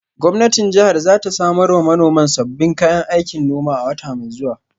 Gwamnatin jihar za ta samar wa manoman sabbin kayan aikin noma a wata mai zuwa.